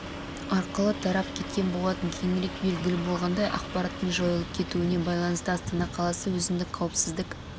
арқылы тарап кеткен болатын кейінірек белгілі болғандай ақпараттың жайылып кетуіне байланысты астана қаласы өзіндік қауіпсіздік